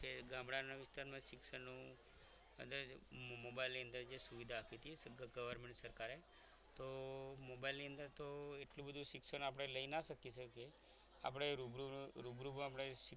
ગામડાના વિસ્તારમાં શિક્ષણનું અને mobile ની અંદર જે સુવિધા આપી છે government સરકારે તો મોબાઈલ ની અંદર તો એટલું બધું શિક્ષણ આપે લઇ ના શકીએ આપણે રૂબરૂ રૂબરૂમાં